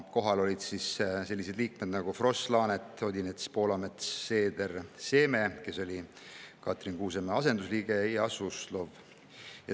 Kohal olid sellised liikmed nagu Kross, Laanet, Odinets, Poolamets, Seeder, Seeme, kes oli Katrin Kuusemäe asendusliige, ja Suslov.